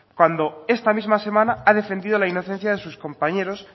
cuando esta misma semana ha defendido la inocencia de sus compañeros